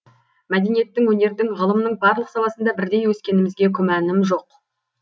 мәдениеттің өнердің ғылымның барлық саласында бірдей өскенімізге күмәнім жоқ